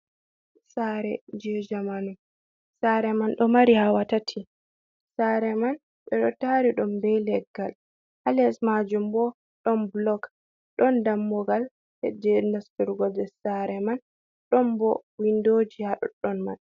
Sare je jamanu. Sare man ɗo mari hawa tati. Sare man ɓe ɗo tari ɗum ɓe leggal. Ha les majum ɓo ɗon ɓulok, ɗon ɗammugal heje nasturgo je sare man, ɗon ɓo winɗoji ha ɗow ɗoɗɗon man.